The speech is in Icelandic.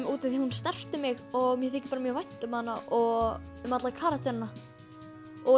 út af því að hún snerti mig og mér þykir mjög vænt um hana og um alla karakterana